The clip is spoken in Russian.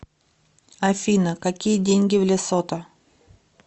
афина какие деньги в лесото